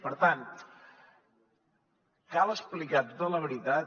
per tant cal explicar tota la veritat